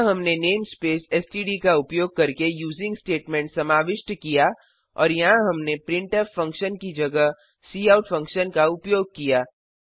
यहाँ हमने namespace STD का उपयोग करके यूजिंग स्टेटमेंट समाविष्ट किया और यहाँ हमने प्रिंटफ फंक्शन की जगह काउट फंक्शन का उपयोग किया